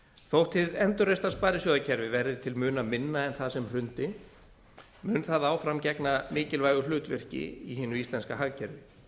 þótt hið endurreista sparisjóðakerfi verði til muna minna en það sem hrundi mun það áfram gegna mikilvægu hlutverki í hinu íslenska hagkerfi